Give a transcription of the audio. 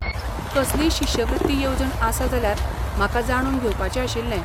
कसलीय शिश्यवृत्ती येवजण आसा जाल्यार म्हाका जाणून घेवपाचें आशिल्लें.